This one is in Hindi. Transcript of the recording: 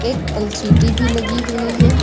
एक एल_सी_डी भी लगी हुई है।